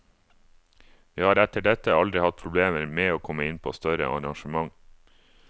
Vi har etter dette aldri hatt problemer med å komme inn på større arrangement.